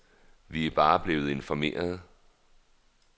Vi er bare blevet informerede.